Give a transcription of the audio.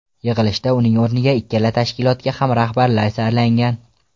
Yig‘ilshda uning o‘rniga ikkala tashkilotga ham rahbarlar saylangan.